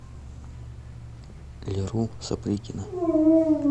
леру сапрыкина